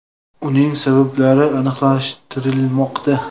Uning sabablari aniqlashtirilmoqda.